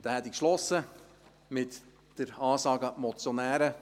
Dann hätte ich geschlossen mit der Ansage an die Motionäre: